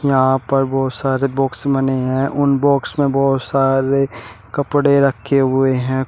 यहां पर बहोत सारे बॉक्स बने हैं उन बॉक्स में बहोत सारे कपड़े रखे हुए हैं।